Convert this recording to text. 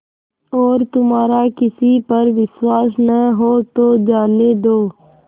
और तुम्हारा किसी पर विश्वास न हो तो जाने दो